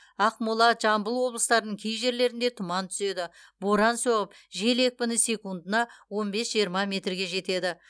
ақмола жамбыл облыстарының кей жерлерінде тұман түседі боран соғып жел екпіні секундына он бес жиырма метрге жетеді